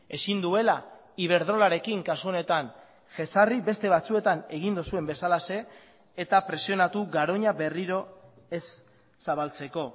ezin duela iberdrolarekin kasu honetan jezarri beste batzuetan egin duzuen bezalaxe eta presionatu garoña berriro ez zabaltzeko